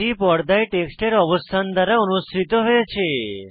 এটি পর্দায় টেক্সটের অবস্থান দ্বারা অনুসৃত হয়েছে